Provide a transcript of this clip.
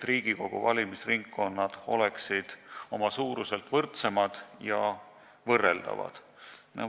Riigikogu valimistel peaksid ringkonnad olema oma suuruselt võrdsemad ja võrreldavad.